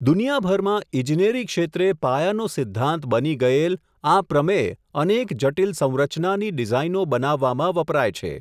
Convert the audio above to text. દુનિયાભરમાં ઈજનેરી ક્ષેત્રે પાયાનો સિધ્ધાંત બની ગયેલ, આ પ્રમેય અનેક જટીલ સંરચનાની ડીઝાઈનો બનાવવામાં વપરાય છે.